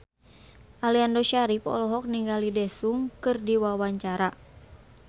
Aliando Syarif olohok ningali Daesung keur diwawancara